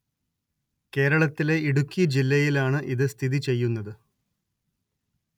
കേരളത്തിലെ ഇടുക്കി ജില്ലയിലാണ് ഇത് സ്ഥിതി ചെയ്യുന്നത്